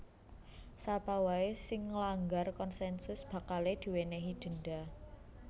Sapa waé sing nglanggar konsensus bakalé diwènèhi denda